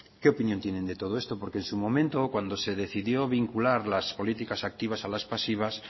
qué opinión tienen de todo esto porque en su momento cuando se decidió vincular las políticas activas a las pasivas